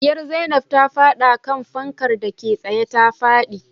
Diyar zainab ta fada kan fankar dake tsaye ta fadi